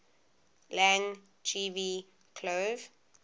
lang gv cloan